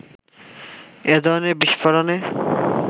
এ ধরনের বিস্ফোরণে